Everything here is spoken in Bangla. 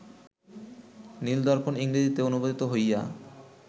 নীল-দর্পণ ইংরেজিতে অনুবাদিত হইয়া